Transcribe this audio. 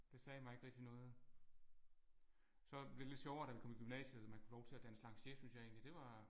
Det sagde mig ikke rigtig noget. Så blev det lidt sjovere da vi kom i gymnasiet så man kunne få lov til at danse lanciers synes jeg egentlig det var